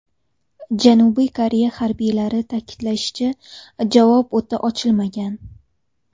Janubiy Koreya harbiylari ta’kidlashicha, javob o‘ti ochilmagan.